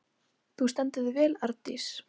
Þú stendur þig vel, Arndís!